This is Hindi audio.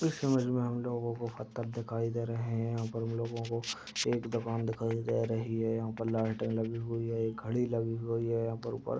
इस इमेज में हम लोगो को पत्थर दिखाई दे रहे है। यहां पर हम लोगो को एक दुकान दिखाई दे रही है। यहां पर लालटेन लगी हुई है। एक घड़ी लगी हुई है यहां पर ऊपर--